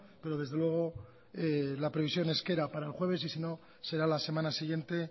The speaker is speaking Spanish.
pero desde luego la previsión es que era para el jueves y si no será la semana siguiente